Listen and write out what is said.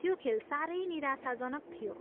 त्यो खेल साह्रै निराशाजनक थियो।